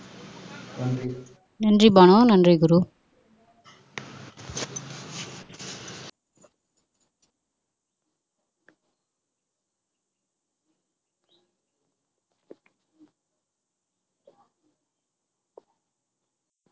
நன்றி பானு நன்றி குரு